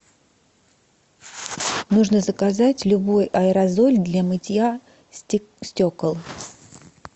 нужно заказать любой аэрозоль для мытья стекол